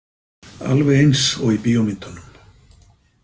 Alveg eins og í bíómyndunum.